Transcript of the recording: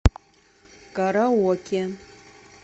караоке